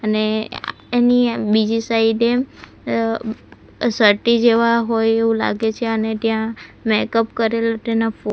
ને એની બીજી સાઈડ એ અહ સર્ટી જેવા હોય એવું લાગે છે અને ત્યાં મેકઅપ કરેલું તેના ફોટો .